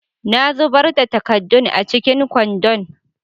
Na zubar da takaddun a cikin kwandon.